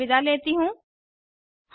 मैं श्रुति आर्य अब आपसे विदा लेती हूँ